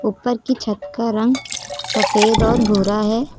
ऊपर की छत का रंग सफेद और भूरा है।